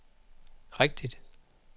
rigtigt